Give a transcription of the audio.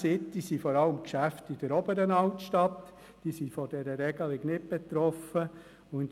Bern-City vertritt vor allem Geschäfte in der Oberen Altstadt, die nicht von der Regelung betroffen wären.